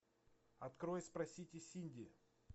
открой спросите синди